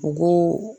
U ko